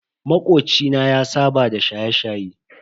Makoci na ya saba da shaye-shaye.